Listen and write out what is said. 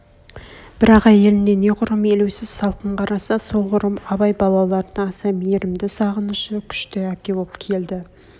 бірақ әйеліне не құрым елеусіз салқын қараса сол құрым абай балаларына аса мейрмді сағынышы күшті әке боп келді